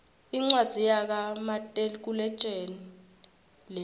incwadzi yaka matekuletjelii lena